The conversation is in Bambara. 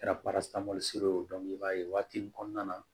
Kɛra i b'a ye o waati nin kɔnɔna na